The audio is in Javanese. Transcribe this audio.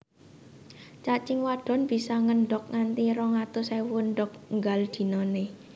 Cacing wadon bisa ngendhog nganti rong atus ewu endhog nggal dinané